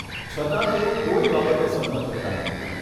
છતાં, તેઓ કોઈ બાબતે સંમત થતાં નથી